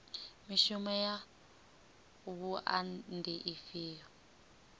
mishumo ya wua ndi ifhio